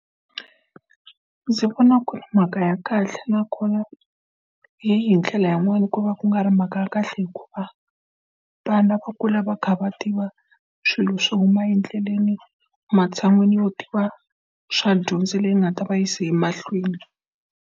Ndzi vona ku ri mhaka ya kahle nakona hi hi ndlela yin'wana ku va ku nga ri mhaka ya kahle hikuva, vana va kula va kha va tiva swilo swo huma endleleni, ematshan'wini yo tiva swa dyondzo leyi nga ta va yisa emahlweni.